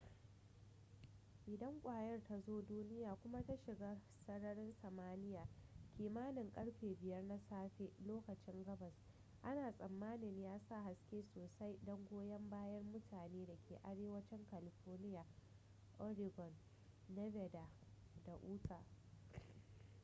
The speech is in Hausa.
idan kwayar ta zo duniya kuma ta shiga sararin samaniya kimanin karfe 5 na safelokacin gabas ana tsamanin ya sa haske sosai don goyon bayan mutane da ke arewancin california oregon nevada da utah